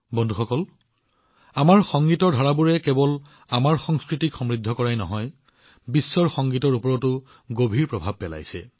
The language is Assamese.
বন্ধুসকল আমাৰ সংগীতৰ প্ৰকাৰে কেৱল আমাৰ সংস্কৃতিক সমৃদ্ধ কৰাই নহয় লগতে বিশ্বৰ সংগীতত এক অমলিন চাপো পেলাইছে